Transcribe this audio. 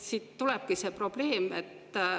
Siit tekibki probleem.